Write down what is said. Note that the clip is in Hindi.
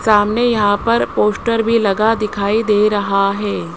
सामने यहां पर पोश्टर भी लगा दिखाई दे रहा है।